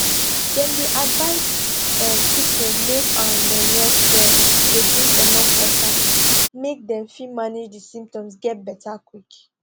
dem dey advise um pipo make um dem rest well dey drink enuf water make dem fit manage di symptoms get beta quick